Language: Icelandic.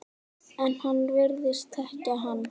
En hann virðist þekkja hana.